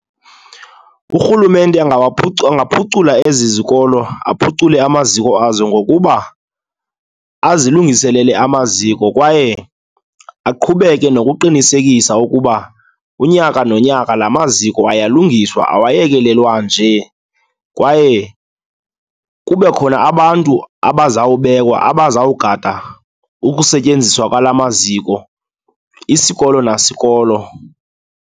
Urhulumente angaphucula ezi zikolo, aphucule amaziko azo ngokuba azilungiselele amaziko kwaye aqhubeke nokuqinisekisa ukuba unyaka nonyaka la maziko ayalungiswa, awayekelelwa nje. Kwaye kube khona abantu abazawubekwa, abazawugada ukusetyenziswa kwala maziko isikolo nasikolo.